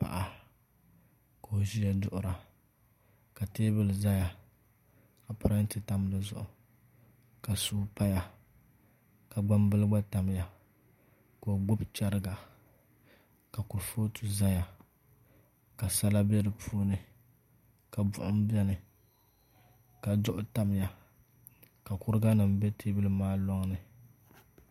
Paɣa ka o ʒiya duɣura ka teebuli ʒɛya ka parantɛ tam dizuɣu ka suu paya ka gbambili gba tamya ka o gbubi chɛriga ka kurifooti ʒɛya ka sala bɛ di puuni ka buɣum bɛni ka duɣu tamya ka kuriga nim bɛ teebuli maa loŋni